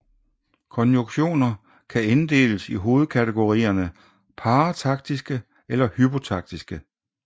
Konjunktioner kan inddeles i hovedkategorierne parataktiske eller hypotaktiske